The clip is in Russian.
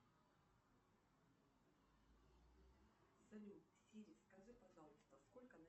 салют сири скажи пожалуйста сколько